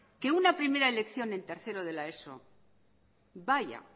que una primera elección en tercero de la eso vaya